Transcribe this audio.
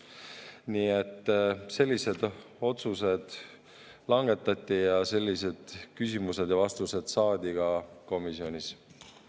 Nii et sellised otsused langetati ja sellised küsimused ja vastused saadi ka komisjonis.